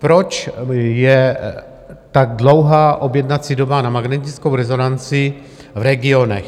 Proč je tak dlouhá objednací doba na magnetickou rezonanci v regionech?